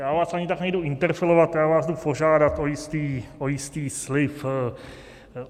Já vás ani tak nejdu interpelovat, já vás jdu požádat o jistý slib.